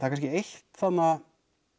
kannski eitt þarna